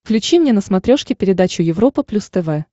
включи мне на смотрешке передачу европа плюс тв